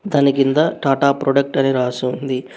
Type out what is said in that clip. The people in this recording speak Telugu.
దాని కింద టాటా ప్రోడక్ట్ అని రాసి ఉంది.